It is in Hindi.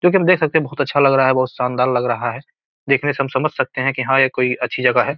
जो की हम देख सकते है बहुत अच्छा लग रहा है बहुत शानदार लग रहा है देखने से हम समझ सकते है की हां ये कोई अच्छी जगह है।